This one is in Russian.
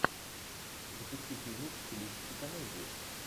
запусти фильмик в стилистике комедии